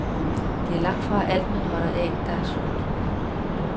Det er langtfra alt, man holder af, der er sundt.